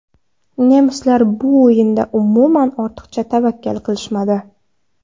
Nemislar bu o‘yinda umuman ortiqcha tavakkal qilishmadi.